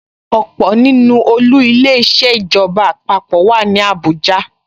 Ọ̀pọ̀ nínú olú Ilé-iṣẹ́ ìjọba àpapọ̀ wà ní Abuja